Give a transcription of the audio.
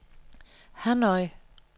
Hanoi